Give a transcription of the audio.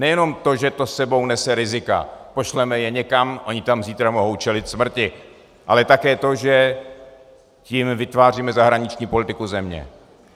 Nejenom to, že to s sebou nese rizika, pošleme je někam, oni tam zítra mohou čelit smrti, ale také to, že tím vytváříme zahraniční politiku země.